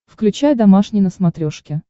включай домашний на смотрешке